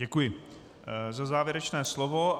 Děkuji za závěrečné slovo.